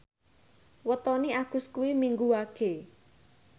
wetone Agus kuwi Minggu Wage